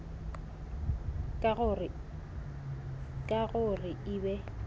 ka go re e be